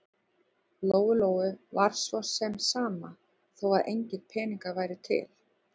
Lóu-Lóu var svo sem sama þó að engir peningar væru til.